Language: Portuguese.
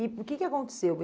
E o que que aconteceu?